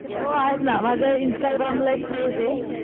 हो आहेत ना माझ इन्स्टाग्राम ला एक पेजे.